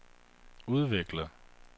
udvikler